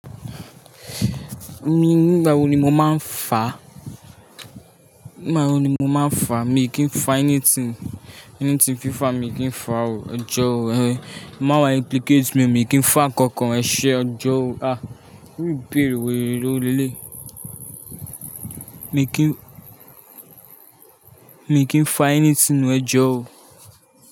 Mi nígbà wo ni mo máa ń fa? Nígbà wo ni mo máa ń fa? Mi kì í fa ẹni tí, ẹni tí fífà, mi kì í fa o. Ẹjọ́ o. Mawa implicate me, mi kì í fa nǹkan kan, ẹṣe, ẹjọ́ o. Á iru ìbéèrè wèrè wo leleyi. Mi kì í, mi kì í fa ẹni sínú ẹjọ́ o.